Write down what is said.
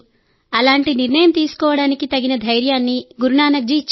అలాంటి నిర్ణయం తీసుకోవడానికి తగిన ధైర్యాన్ని గురునానక్ జీ ఇచ్చాడు